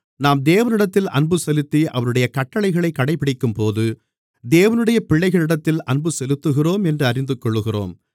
நாம் தேவனிடத்தில் அன்புசெலுத்தி அவருடைய கட்டளைகளைக் கடைப்பிடிக்கும்போது தேவனுடைய பிள்ளைகளிடத்தில் அன்பு செலுத்துகிறோம் என்று அறிந்துகொள்ளுகிறோம்